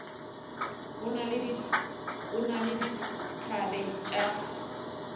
o na le dithabe tša